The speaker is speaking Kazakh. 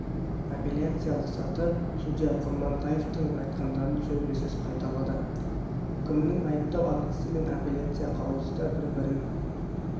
апелляциялық саты судья құрмантаевтың айтқандарын сөзбе-сөз қайталады үкімнің айыптау актісі мен апелляция қаулысы да бір бірін